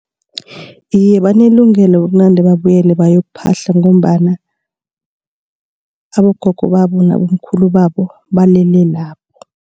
Iye, banelungelo ukunande babuyela bayokuphahla ngombana abogogo babo nabomkhulu babo balele lapho.